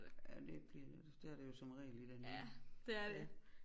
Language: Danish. Ja det bliver det jo det er det jo som regel i det nye ja